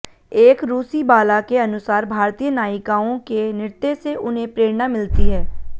एक रूसी बाला के अनुसार भारतीय नायिकाओं के नृत्य से उन्हें प्रेरणा मिलती है